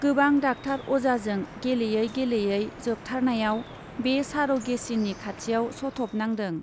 गोबां डाक्टार अजाजों गेलेयै गेलेयै जोबथारनायाव बे सार' गेचिनि खाथियाव सथ' बनांदों।